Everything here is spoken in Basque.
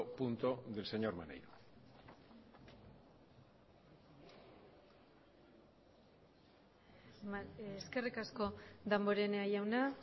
punto del señor maneiro eskerrik asko damborenea jauna